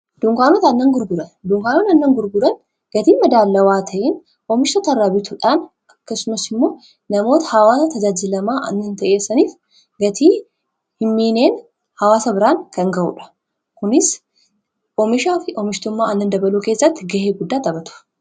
dunkanot annan gurburan duunkaanon annan gurburan gatii madaalawaa ta'in oomishtoo tarraa bituudhaan akkasumas immoo namoota hawaasa tajaajilamaa annihin ta'essaniif gatii himmiineen hawaasa biraan kan ga'uudha kunis oomishaa fi oomishtummaa annan dabaluu keessatti gahee guddaa taphatu